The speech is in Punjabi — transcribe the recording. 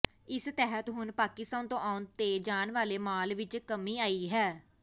ਇਸ ਤਹਿਤ ਹੁਣ ਪਾਕਿਸਤਾਨ ਤੋਂ ਆਉਣ ਤੇ ਜਾਣ ਵਾਲੇ ਮਾਲ ਵਿੱਚ ਕਮੀ ਆਈ ਹੈ